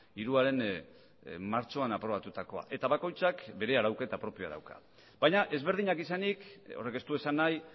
hiruaren martxoan aprobatutakoa eta bakoitzak bere arauketa propioa dauka baina ezberdinak izanik horrek ez du esan nahi